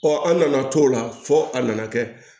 Ɔ an nana t'o la fo a nana kɛ